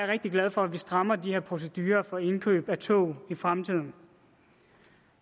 rigtig glad for at vi strammer de her procedurer for indkøb af tog i fremtiden